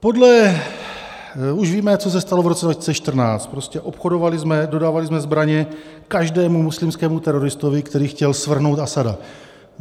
Podle - už víme, co se stalo v roce 2014, prostě obchodovali jsme, dodávali jsme zbraně každému muslimskému teroristovi, který chtěl svrhnout Asada.